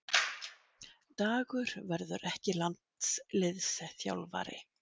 Dagur verður ekki landsliðsþjálfari